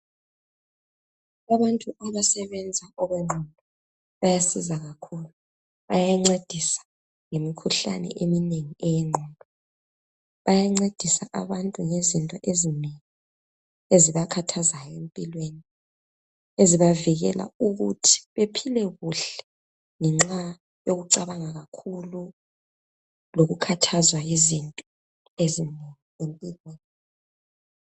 Abantu abasebenza ngokwengqondo bayasiza kakhulu. Bayancedisa ngemikhuhlane eminengi eyengqondo. Bayancedisa abantu ngezinto ezinengi ezibakhathazayo empilweni. Ezibavikela ukuthi bephile kuhle ngenxa yokucabanga kakhulu lokukhathazwa yizinto ezinengi empilweni.